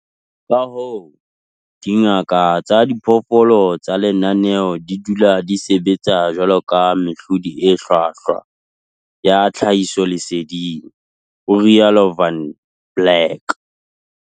Ka hoo, dingaka tsa diphoofolo tsa lenaneo di tla dula di sebetsa jwaloka mehlodi e hlwahlwa ya tlhahisoleseding, ho rialo Van Blerk.